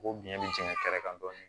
K'o biɲɛ be jɛn kɛrɛ kan dɔɔnin